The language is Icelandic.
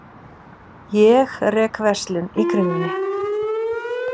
Ég rek verslun í Kringlunni.